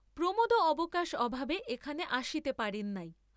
প্রমােদও অবকাশ অভাবে এখানে আসিতে পারেন নাই।